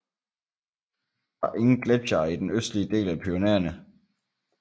Der er ingen gletsjere i den østlige del af Pyrenæerne